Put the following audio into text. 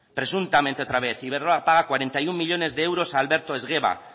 presuntamente otra vez iberdrola paga cuarenta y uno millónes de euros a alberto esgueva